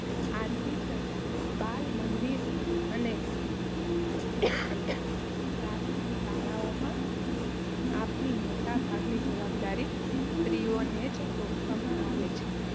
આથી જ બાલમંદિર અને પ્રાથમિક શાળાઓમાં આપવાની મોટા ભાગની જવાબદારી સ્ત્રીઓને જ સોંપવામાં આવે છે.